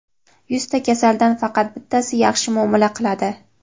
"Yuzta kasaldan faqat bittasi yaxshi muomala qiladi".